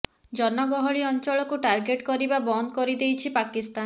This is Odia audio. ଜନ ଗହଳି ଅଞ୍ଚଳକୁ ଟାର୍ଗେଟ କରିବା ବନ୍ଦ କରିଦେଇଛି ପାକିସ୍ତାନ